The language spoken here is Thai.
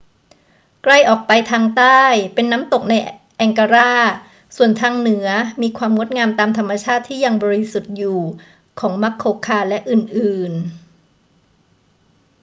ไกลออกไปทางใต้เป็นน้ำตกไนแองการา ส่วนทางเหนือมีความงดงามตามธรรมชาติที่ยังบริสุทธิ์อยู่ของมัสโคคาและอื่น ๆ